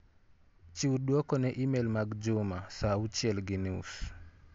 Chiw duok ne imel mag Juma sa auchiel gi nus.